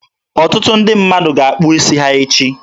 Ọtụtụ ndị mmadụ ga-akpụ isi ha echi.